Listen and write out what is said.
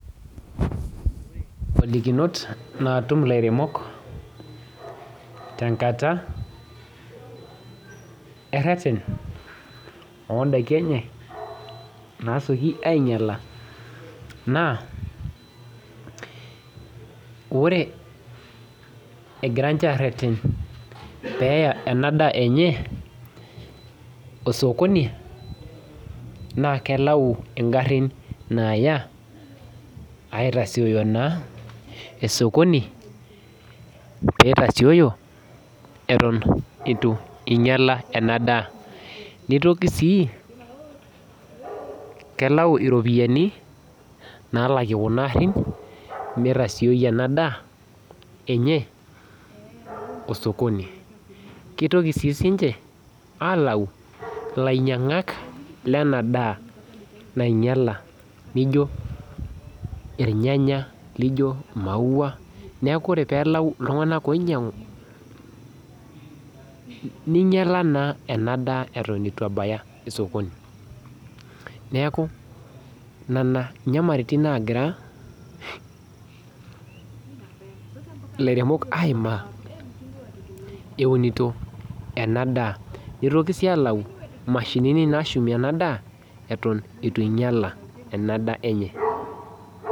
Inkolikinot naatum ilairemok tenkata ereret oondaiki enye naasioki ainyiala naa ore egira ninche aareten peeya ena daa enye osokoni naa kelau ingarin naaya aitasioyo naa osokoni peitasioyo eton eitu einyiala ena daa neitoki siii kelau iropiyiani naalakie kuna aarin meitasioi ena daa enye osokoni keitoki sii ninche aakau ilainyiang'ak lenaadaa nainyiala naijio irnyanya lijo maauwa neeku ore peelau iltung'anak oinyiang'u neiyiala naa ena daa eton eitu ebaya sokoni neeku nena inyamalaritin naaimaa eunito ena daa neitoki sii alau imashinini naashumie ena daa eton eitu einyiala ena daa enye.